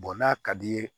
n'a ka d'i ye